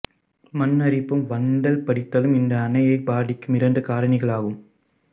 மண் அரிப்பும் வண்டல் படிதலும் இந்த அணையை பாதிக்கும் இரண்டு காரணிகளாகும்